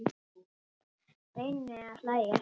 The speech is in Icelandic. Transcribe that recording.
Reyni að hlæja.